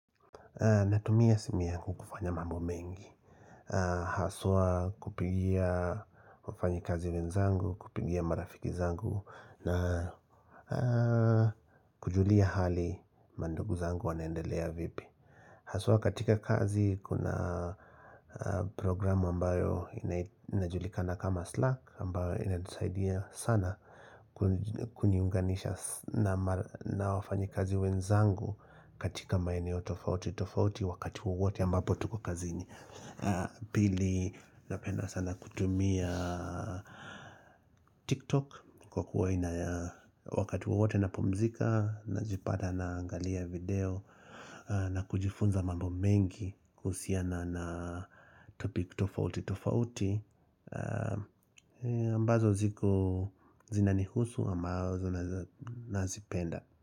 Natumia simu yangu kufanya mambo mengi, haswa kupigia wafanyikazi wenzangu, kupigia marafiki zangu na kujulia hali mandugu zangu wanaendelea vipi Haswa katika kazi kuna programu ambayo inajulikana kama Slack ambayo inanisaidia sana kuniunganisha na wafanyikazi wenzangu katika maeneo tofauti tofauti wakati wowote ambapo tuko kazini. Pili, napenda sana kutumia TikTok kwa kuwa inaya, wakati wowote napumzika najipata naangalia video na kujifunza mambo mengi kuhusiana na topic tofauti tofauti ambazo ziko zinanihusu ama nazipenda.